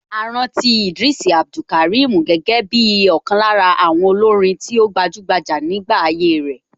A rántí Idris Abdulkarim gẹ́gẹ́ bí ọ̀kan lára àwọn olórin tí ó gbajúgbajà nígbà ayé ẹ̀.